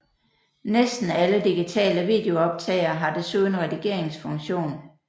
Næsten alle digitale videooptagere har desuden redigeringsfunktion